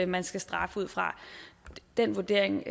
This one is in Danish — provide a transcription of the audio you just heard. man skal straffe ud fra den vurdering